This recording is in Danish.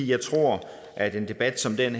jeg tror at en debat som den